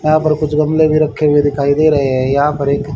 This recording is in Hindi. यहां पर कुछ गमले भी रखे हुए दिखाई दे रहे हैं यहां पर एक--